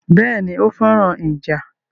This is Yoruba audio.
Béèni, ó féràn ìjà